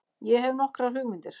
Ég hefi nokkrar hugmyndir.